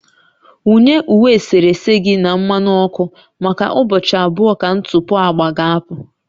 Wunye uwe eserese gị na mmanụ ọkụ maka ụbọchị abụọ ka ntụpọ agba ga-apụ